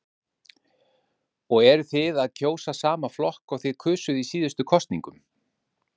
Heimir Már: Og eruð þið að kjósa sama flokk og þið kusuð í síðustu kosningum?